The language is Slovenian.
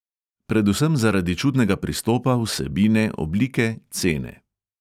Predvsem zaradi čudnega pristopa, vsebine, oblike, cene.